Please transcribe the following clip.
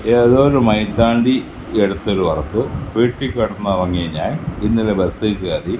ഏതോ ഒരു മൈതാണ്ടി എടുത്ത ഒരു വർക്ക് വീട്ടിൽ കിടന്ന് ഉറങ്ങിയ ഞാൻ ഇന്നലെ ബസ്സിൽ കയറി--